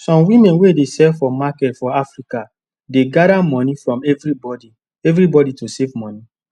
some women wey dey sell for market for africadey gather money from everybody everybody to save money